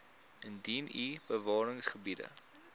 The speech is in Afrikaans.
indien u bewaringsgebiede